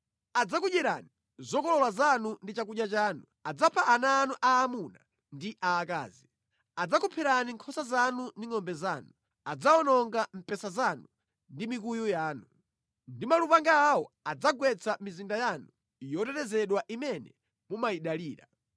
Adzakudyerani zokolola zanu ndi chakudya chanu, adzapha ana anu aamuna ndi aakazi; adzakupherani nkhosa zanu ndi ngʼombe zanu, adzawononga mpesa wanu ndi mikuyu yanu. Ndi malupanga awo adzagwetsa mizinda yanu yotetezedwa imene mumayidalira.